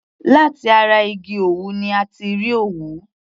Láti ara igi òwú ni a ti rí òwú.